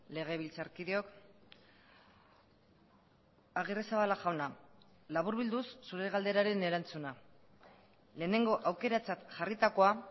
legebiltzarkideok agirrezabala jauna laburbilduz zure galderaren erantzuna lehenengo aukeratzat jarritakoa